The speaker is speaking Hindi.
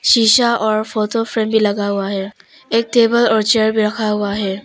शीशा और फोटो फ्रेम भी लगा हुआ है एक टेबल और चेयर भी रखा हुआ है।